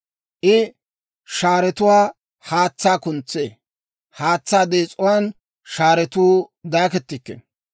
I shaaretuwaan haatsaa kuntsee; haatsaa dees'uwaan shaaretuu daakettikkino.